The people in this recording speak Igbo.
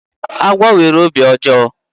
Agwọ nwere obi ọjọọ.